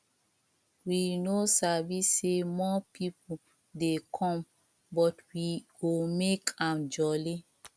we no sabi say more people dey come but we go make am jolly